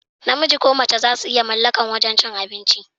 Namiji ko mace zasu iya mallakar wajan cin abinci.